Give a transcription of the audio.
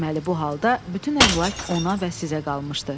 Deməli, bu halda bütün əmlak ona və sizə qalmışdı.